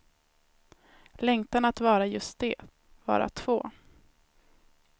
Längtan att vara just det, vara två.